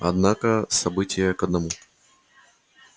однако события к одному